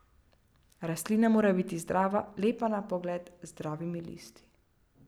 Rastlina mora biti zdrava, lepa na pogled, z zdravimi listi.